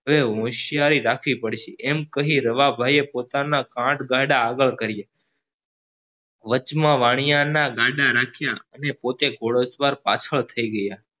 હવે હોશિયારી રાખવી પડશે એમ કહી રવા ભાઈએ પોતાના ગાડા આગળ કર્યા વચમાં વાણીયા ના ગાડાં રાખ્યા અને પોતે ઘોડે સવાર પાછળ થઇ ગયા